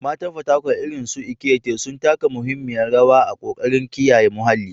Matan Fatakwal, irin su Ekaette, sun taka muhimmiyar rawa a ƙoƙarin kiyaye muhalli.